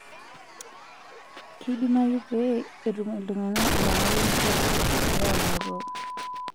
Keidimayu pee etum iltung'ana enyamali enkitashoto egira aamoruau.